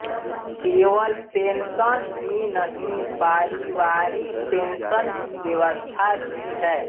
केवल पेंशन ही नहीं पारिवारिक पेंशन की व्यवस्था भी है